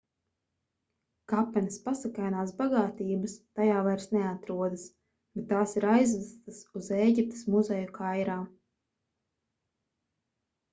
kapenes pasakainās bagātības tajā vairs neatrodas bet tās ir aizvestas uz ēģiptes muzeju kairā